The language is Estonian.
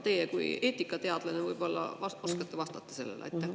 Teie kui eetikateadlane võib-olla oskate vastata sellele.